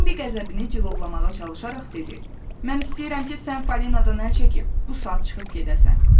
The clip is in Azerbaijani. Bembi qəzəbini cilovlamağa çalışaraq dedi: Mən istəyirəm ki, sən Falinadan əl çəkib bu saat çıxıb gedəsən.